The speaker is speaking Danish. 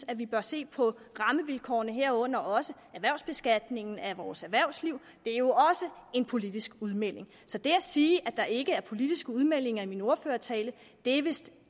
at vi bør se på rammevilkårene herunder også erhvervsbeskatningen af vores erhvervsliv det er jo også en politisk udmelding så det at sige at der ikke var politiske udmeldinger i min ordførertale er vist